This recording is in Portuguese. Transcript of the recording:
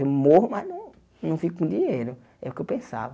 Eu morro, mas não não fico com o dinheiro, é o que eu pensava.